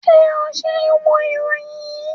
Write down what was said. Ṣe o ṣ ń wo iroyin yii?